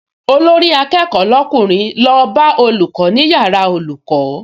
Olórí-akẹ́kọ̀ọ́ lọ́kùnrin lọ bá olùkọ́ ní yàrá olùkọ́